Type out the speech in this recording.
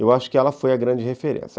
Eu acho que ela foi a grande referência.